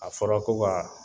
A fɔra ko wa